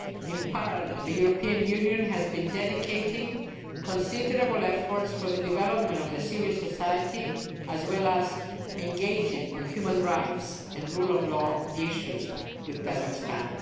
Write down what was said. In parallel, the European Union has been dedicating considerable efforts to the development of civil society as well as engaging on human rights and rule of law issues with Kazakhstan.